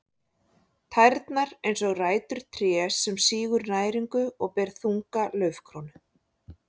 Tærnar eins og rætur trés sem sýgur næringu og ber þunga laufkrónu.